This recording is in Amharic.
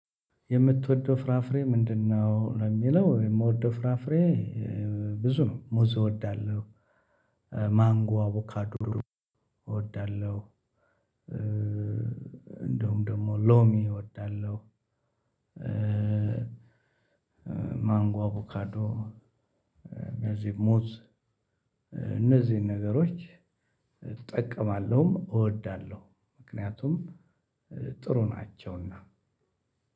የምትወደው ፍራፍሬ ምንድነው? ለሚለው የምወደው ፍራፍሬ ብዙ ነው ሙዝ እወዳለሁ። ማንጎ አቮካዶ እወዳለሁ። እንደውም ደግሞ ሎሚ እወዳለሁ። ማንጓ አቦካዶ እነዚህ ሙዝ። እነዚህን ነገሮች እጠቀማለሁም እወዳለሁ። ምክንያቱም ጥሩ ናቸውና